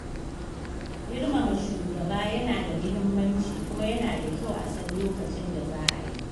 Girmama shugaba yana da muhimmanci kuma yana da kyau a san lokacin da za a yi.